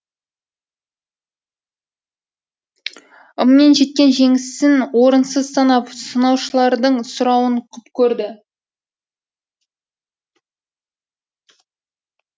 ыммен жеткен жеңісін орынсыз санап сынаушылардың сұрауын құп көрді